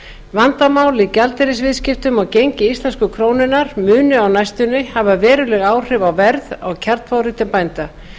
vandamál í gjaldeyrisviðskiptum og gengi íslensku krónunnar munu á næstunni hafa veruleg áhrif á verð á kjarnfóðri til bænda